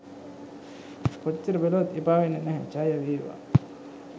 කොච්චර බැලුවත් එපා වෙන්නෙ නැහැ ජයවේවා